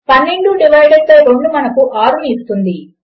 12 divided by 2 మనకు 6 ఇస్తుంది